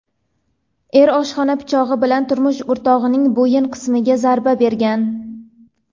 er oshxona pichog‘i bilan turmush o‘rtog‘ining bo‘yin qismiga zarba bergan.